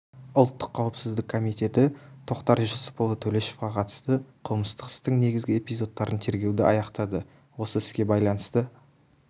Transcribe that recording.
ұлттық қауіпсіздік комитеті тоқтар жүсіпұлы төлешовқа қатысты қылмыстық істің негізгі эпизодтарын тергеуді аяқтады осы іске байланысты